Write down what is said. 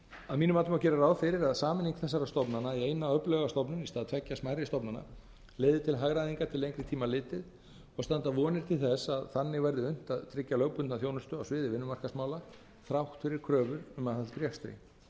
að mínu mati má gera ráð fyrir að sameining þessara stofnana í eina öfluga stofnun í stað tveggja smærri stofnana leiði til hagræðingar til lengri tíma litið og standa vonir til þess að þannig veðri unnt að tryggja lögbundna þjónustu á sviði vinnumarkaðsmála þrátt fyrir kröfu um aðhald í rekstri